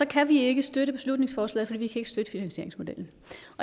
kan vi ikke støtte beslutningsforslaget for vi kan ikke støtte finansieringsmodellen